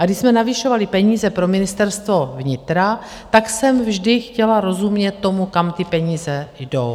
A když jsme navyšovali peníze pro Ministerstvo vnitra, tak jsem vždy chtěla rozumět tomu, kam ty peníze jdou.